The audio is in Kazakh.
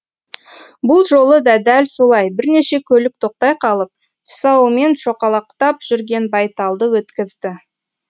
бұл жолы да дәл солай бірнеше көлік тоқтай қалып тұсауымен шоқалақтап жүрген байталды өткізді